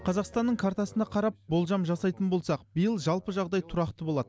қазақстанның картасына қарап болжам жасайтын болсақ биыл жалпы жағдай тұрақты болады